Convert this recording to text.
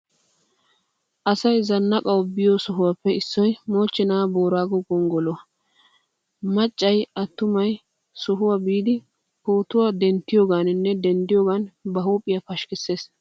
Asay zannaqanawu biiyo sohuwaappe issoy mochchena boorago gonggoloy issuwaa. Maccay attumay he sohuwaa biidi pootuwaa denttiyoganinne denddiyogan ba huphphiyaa pashkkisees.